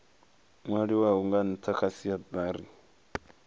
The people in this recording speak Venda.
nwaliwaho nga ntha kha siatari